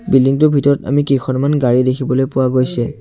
Building টোৰ ভিতৰত আমি কেইখনমান গাড়ী দেখিবলৈ পোৱা গৈছে।